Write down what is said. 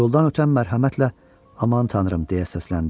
Yoldan ötən mərhəmətlə, Aman Tanrım deyə səsləndi.